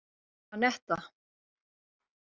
Anetta